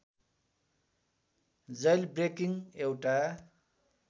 jailbreaking एउटा